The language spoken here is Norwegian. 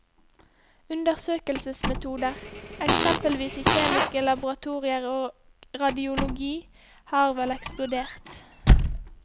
Undersøkelsesmetoder, eksempelvis i kjemiske laboratorier og radiologi har vel eksplodert.